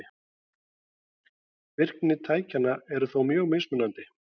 Virkni tækjanna er þó mjög mismunandi.